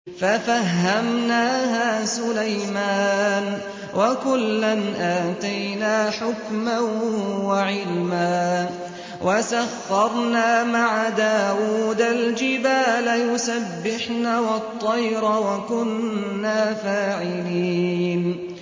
فَفَهَّمْنَاهَا سُلَيْمَانَ ۚ وَكُلًّا آتَيْنَا حُكْمًا وَعِلْمًا ۚ وَسَخَّرْنَا مَعَ دَاوُودَ الْجِبَالَ يُسَبِّحْنَ وَالطَّيْرَ ۚ وَكُنَّا فَاعِلِينَ